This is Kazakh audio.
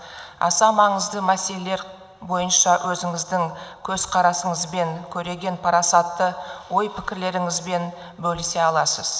аса маңызды мәселелер бойынша өзіңіздің көзқарасыңызбен көреген парасатты ой пікірлеріңізбен бөлісе аласыз